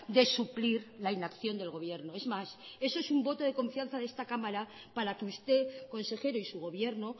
de suplir la inacción del gobierno es más eso es un voto de confianza de esta cámara para que usted consejero y su gobierno